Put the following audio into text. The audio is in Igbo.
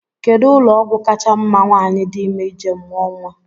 Kedụ ụlọọgwụ kacha mma nwaanyị di ime ije mụọ nnwa?